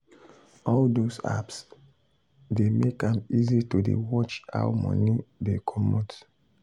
all those apps dey make am easy to dey watch how money dey comot